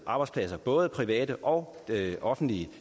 arbejdspladser både private og offentlige